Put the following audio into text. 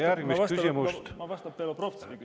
Aga ma vastan Belobrovtsevi …